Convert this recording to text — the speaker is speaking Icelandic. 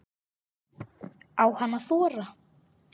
Á hann að þora?